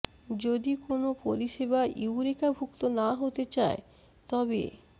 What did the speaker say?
যদি কোনো পরিষেবা ইউরেকা ভুক্ত না হতে চায় তবে